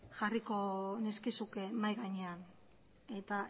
jarriko nizkizuke mahai gainean eta